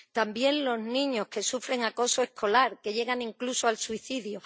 También los niños, que sufren acoso escolar, que llegan incluso al suicidio.